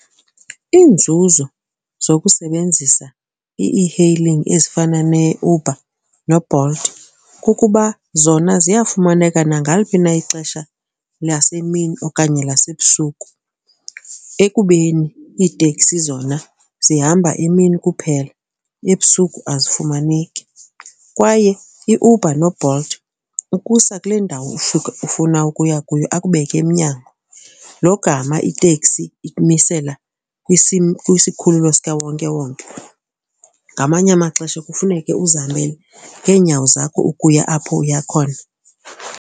Iinzuzo zokusebenzisa i-ehailing ezifana neUber noBolt kukuba zona ziyafumaneka nangaliphi na ixesha lasemini okanye lasebusuku ekubeni iiteksi zona zihamba emini kuphela, ebusuku azifumaneki. Kwaye iUber noBolt ukusa kule ndawo ufuna ukuya kuyo akubeke emnyango logama itekisi ikumisela kwisikhululo sikawonkewonke. Ngamanye amaxesha kufuneke uzihambele ngeenyawo zakho ukuya apho uya khona.